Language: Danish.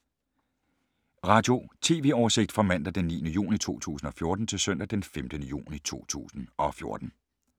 Radio/TV oversigt fra mandag d. 9. juni 2014 til søndag d. 15. juni 2014